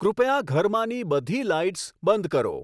કૃપયા ઘરમાંની બધી લાઈટ્સ બંધ કરો